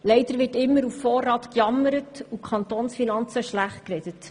Leider wird immer auf Vorrat gejammert, und die Kantonsfinanzen werden schlechtgeredet.